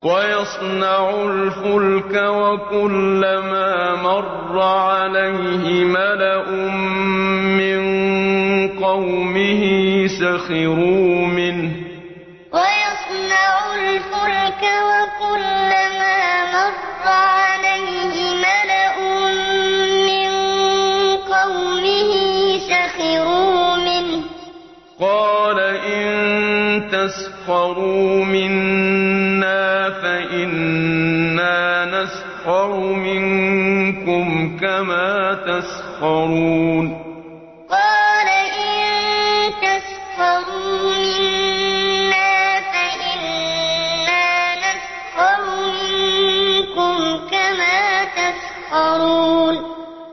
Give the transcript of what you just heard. وَيَصْنَعُ الْفُلْكَ وَكُلَّمَا مَرَّ عَلَيْهِ مَلَأٌ مِّن قَوْمِهِ سَخِرُوا مِنْهُ ۚ قَالَ إِن تَسْخَرُوا مِنَّا فَإِنَّا نَسْخَرُ مِنكُمْ كَمَا تَسْخَرُونَ وَيَصْنَعُ الْفُلْكَ وَكُلَّمَا مَرَّ عَلَيْهِ مَلَأٌ مِّن قَوْمِهِ سَخِرُوا مِنْهُ ۚ قَالَ إِن تَسْخَرُوا مِنَّا فَإِنَّا نَسْخَرُ مِنكُمْ كَمَا تَسْخَرُونَ